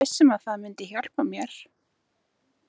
Ég er viss um að það myndi hjálpa mér.